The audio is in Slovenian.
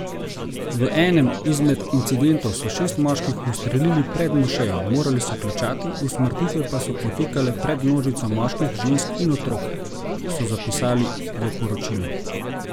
V enem izmed incidentov so šest moških ustrelili pred mošejo, morali so klečati, usmrtitve pa so potekale pred množico moških, žensk in otrok, so zapisali v poročilu.